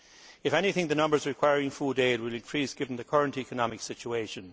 If anything, the numbers requiring food aid will increase, given the current economic situation.